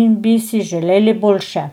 in bi si želeli boljše.